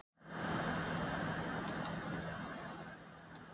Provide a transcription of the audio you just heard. Hvaða lið eru komin á EM og hvenær er dregið í riðla?